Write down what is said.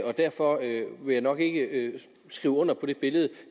og derfor vil jeg nok ikke skrive under på det billede